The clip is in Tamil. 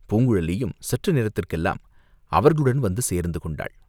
பூங்குழலியும் சற்று நேரத்துக்கெல்லாம் அவர்களுடன் வந்து சேர்ந்து கொண்டாள்.